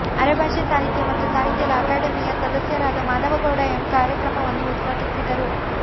ಅರೆಭಾಷೆ ಸಾಹಿತ್ಯ ಮತ್ತು ಸಾಹಿತ್ಯದ ಅಕಾಡೆಮಿಯ ಸದಸ್ಯರಾದ ಮಾಧವಗೌಡ ಎಂ ಕಾರ್ಯಕ್ರಮವನ್ನು ಉದ್ಘಾಟಿಸಿದರು